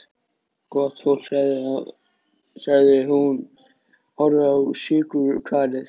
Gott fólk, sagði hún og horfði á sykurkarið.